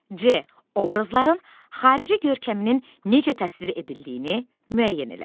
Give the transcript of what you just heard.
C. obrazların xarici görkəminin necə təsvir edildiyini müəyyən elə.